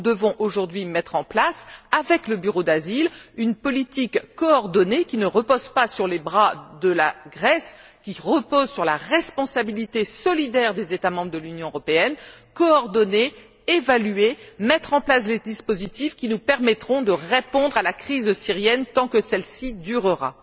Nous devons aujourd'hui mettre en place, avec le bureau d'asile, une politique coordonnée qui ne repose pas sur les bras de la Grèce, qui repose sur la responsabilité solidaire des États membres de l'Union européenne, nous devons coordonner, évaluer, mettre en place des dispositifs qui nous permettront de répondre à la crise syrienne tant que celle ci durera.